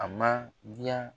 A ma diya